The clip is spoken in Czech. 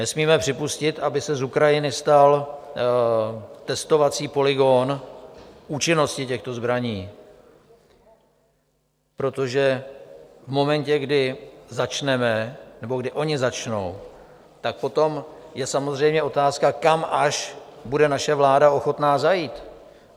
Nesmíme připustit, aby se z Ukrajiny stal testovací polygon účinností těchto zbraní, protože v momentě, kdy začneme, nebo kdy oni začnou, tak potom je samozřejmě otázka, kam až bude naše vláda ochotná zajít.